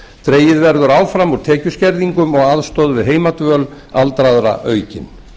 dregið verður áfram úr tekjuskerðingum og aðstoð við heimadvöl aldraðra aukin